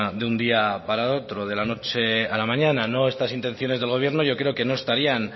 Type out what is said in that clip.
de un día para otro de la noche a la mañana no estas intenciones del gobierno yo creo que no estarían